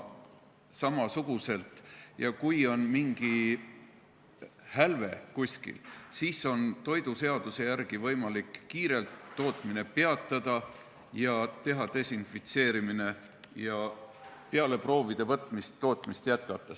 Kui kuskil on mingi hälve, siis on toiduseaduse järgi võimalik kiirelt tootmine peatada, teha desinfitseerimine ja peale proovide võtmist tootmist jätkata.